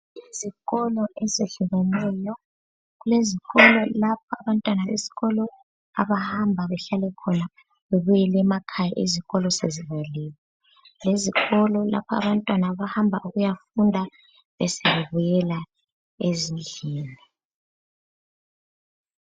Kulezikolo ezehlukeneyo kulezikolo lapha abantwana besikolo abahamba behlale khona bebuyele emakhaya izikolo sezivaliwe, lezikolo lapha abantwana abahamba ukuyafunda besebe buyela ezindlini.